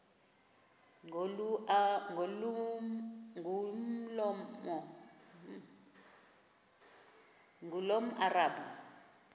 ngulomarabu